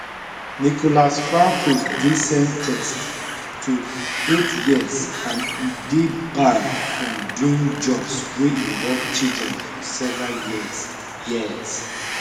nicolas francoisdey sen ten ced to eight years and e dey banned from doing jobs wey involve children for several years years